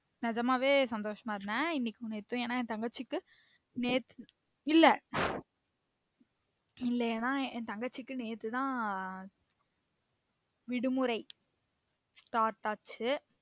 நிஜமாவே சந்தோசமா இருந்தேன் இன்னைக்கும் நேத்தும் எனா என் தங்கச்சிக்கு நேத்து இல்ல இல்ல ஏனா என் தங்கச்சிக்கு நேத்து தான் விடுமுறை start ஆச்சு